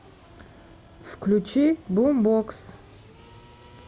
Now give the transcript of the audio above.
включи бумбокс